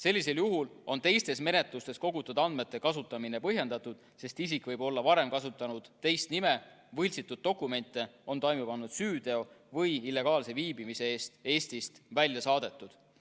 Sellisel juhul on teistes menetlustes kogutud andmete kasutamine põhjendatud, sest isik võib olla varem kasutanud teist nime, võltsitud dokumente, on toime pannud süüteo või illegaalse viibimise eest Eestist välja saadetud.